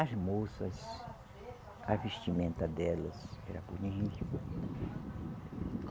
As moças, a vestimenta delas era bonita.